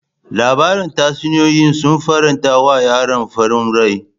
Labarin tatsuniyoyi sun faranta wa yaron farin rai.